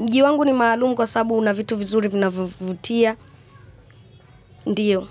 Mji wangu ni maalum kwa sabu una vitu vizuri vinavyovutia. Ndiyo.